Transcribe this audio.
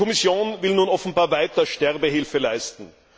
Die Kommission will nun offenbar weiter Sterbehilfe leisten.